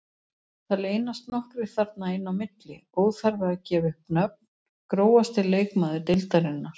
Það leynast nokkrir þarna inn á milli, óþarfi að gefa upp nöfn Grófasti leikmaður deildarinnar?